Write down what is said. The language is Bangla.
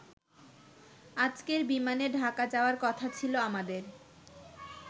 আজকের বিমানে ঢাকা যাওয়ার কথা ছিল আমাদের।